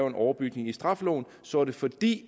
en overbygning i straffeloven så er det fordi